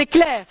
C'est clair.